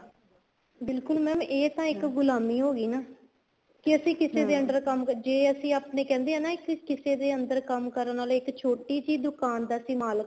ਬਿਲਕੁਲ mam ਇਹ ਤਾਂ ਇੱਕ ਗੁਲਾਮੀ ਹੋਗੀ ਨਾ ਕੇ ਅਸੀਂ ਕਿਸੇ ਦੇ under ਕੰਮ ਜ਼ੇ ਅਸੀਂ ਆਪਣੇ ਕਹਿੰਦੇ ਹਾਂ ਨਾ ਇੱਕ ਕਿਸੇ ਦੇ under ਕੰਮ ਕਰਨ ਆਲਾ ਇੱਕ ਛੋਟੀ ਜੀ ਦੁਕਾਨ ਦਾ ਸੀ ਮਾਲਕ